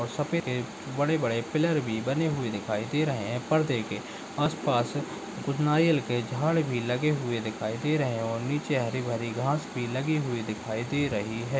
और सफ़ेद बड़े बड़े पिलर भी बने हुवे दिखाई दे रहे है परदे के आसपास कुछ नारियल के झाड़ भी लगे हुवे दिखाई दे रहे है और निचे हरी भरी घाँस भी लगी हुई दिखाई दे रही हैं।